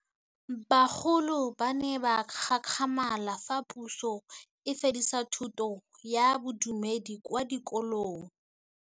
Bagolo ba ne ba gakgamala fa Pusô e fedisa thutô ya Bodumedi kwa dikolong.